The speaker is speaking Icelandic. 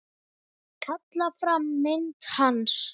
Kalla fram mynd hans.